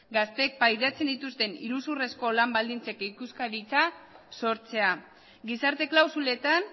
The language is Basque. gazteek pairatzen dituzten iruzurrezko lan baldintzak ikuskaritza sortzea gizarte klausuletan